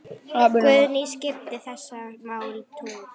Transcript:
Guðný: Skipta þessi mál tugum?